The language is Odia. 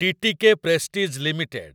TTK Prestige limited